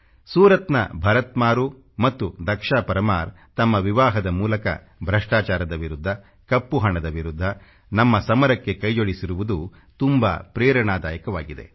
ಸೂರತ್ನ ಭರತ್ ಮಾರೂ ಮತ್ತು ದಕ್ಷಾ ಪರಮಾರ್ ತಮ್ಮ ವಿವಾಹದ ಮೂಲಕ ಭ್ರಷ್ಟಾಚಾರದ ವಿರುದ್ಧ ಕಪ್ಪು ಹಣದ ವಿರುದ್ಧ ನಮ್ಮ ಸಮರಕ್ಕೆ ಕೈಜೋಡಿಸಿರುವುದು ತುಂಬಾ ಪ್ರೇರಣಾದಾಯಕವಾಗಿದೆ